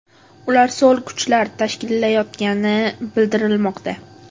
Ularni so‘l kuchlar tashkillayotgani bildirilmoqda.